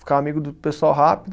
Ficava amigo do pessoal rápido.